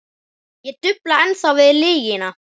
Ég dufla ennþá við lygina.